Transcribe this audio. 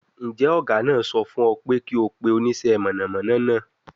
Njẹ ọga naa sọ fun ọ pe ki o pe onisẹ ina mọnamọna naa?